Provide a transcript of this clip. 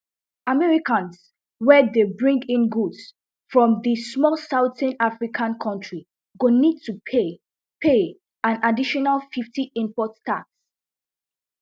americans wey dey bring in goods from di small southern african kontri go need to pay pay an additional fifty import tax